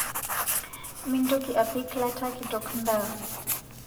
Mintoki apik lata kitok ndaa